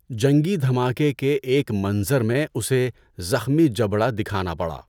جنگی دھماکے کے ایک منظر میں اسے زخمی جبڑا دکھانا پڑا۔